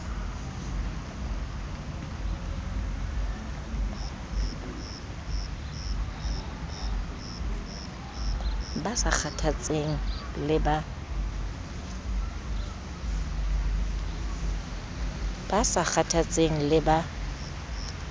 ba sa kgathatseng ie ba